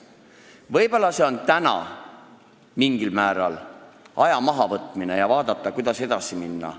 Võib-olla tähendab see täna mingil määral aja mahavõtmist, et vaadata, kuidas edasi minna.